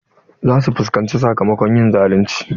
Za su fuskanci sakamakon yin zalunci.